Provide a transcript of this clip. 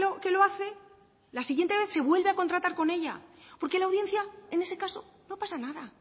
que lo hace la siguiente vez se vuelve a contratar con ella porque la audiencia en ese caso no pasa nada